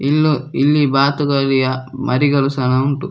ಇಲ್ಲೂ ಇಲ್ಲಿ ಬಾತುಕೋಳಿಯ ಮರಿಗಳು ಸಹ ಉಂಟು.